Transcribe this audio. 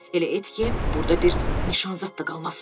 Elə et ki, burda bir nişan zad da qalmasın.